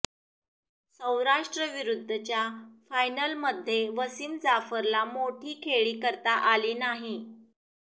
सौराष्ट्रविरुद्धच्या फायनलमध्ये वसीम जाफरला मोठी खेळी करता आली नाही